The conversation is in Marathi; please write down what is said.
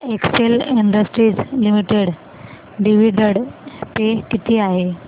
Excel industries limited dividend pay किती आहे